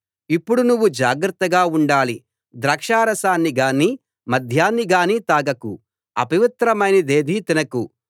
ఇప్పుడు నువ్వు జాగ్రత్తగా ఉండాలి ద్రాక్షా రసాన్ని గానీ మద్యాన్ని గానీ తాగకు అపవిత్రమైనదేదీ తినకు